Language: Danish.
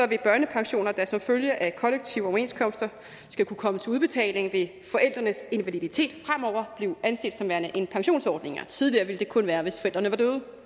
vil børnepensioner der som følge af kollektive overenskomster skal kunne komme til udbetaling ved forældrenes invaliditet fremover blive anset som værende en pensionsordning tidligere ville det kun være hvis forældrene var